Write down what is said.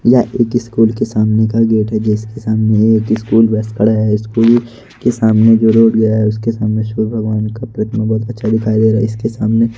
यह एक स्कूल के सामने का गेट है। जिसके सामने एक स्कूल बस खड़ा है। स्कूल के सामने जो रोड गया है उसके सामने सूर्य भगवान का प्रतिमा बहुत अच्छा दिखाई दे रहा है। इसके सामने --